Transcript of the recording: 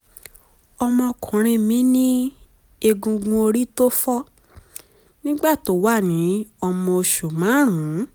ọmọkùnrin mi ní egungun orí tó fọ́ nígbà tó wà ní ọmọ oṣù márùn-ún